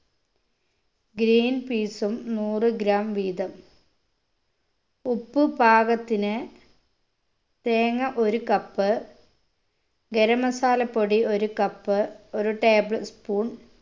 greenpeas ഉം നൂറ് gram വീതം ഉപ്പ് പാകത്തിന് തേങ്ങ ഒരു cup ഗരം masala പൊടി ഒരു cup ഒരു tablespoon